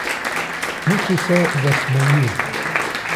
Muci se zasmeji.